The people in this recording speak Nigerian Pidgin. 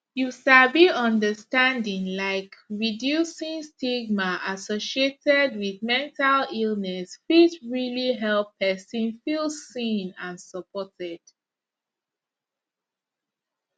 you sabi understanding laik reducing stigma associated wit mental illness fit realli help pesin feel seen and supported